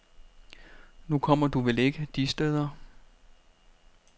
Nu kommer du vel ikke de steder.